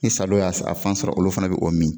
Ni sa dɔ y'a sɔ a fan sɔrɔ olu fana be o min.